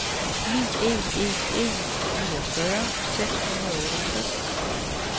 ni en en en niogfyrre seks hundrede og otteogtres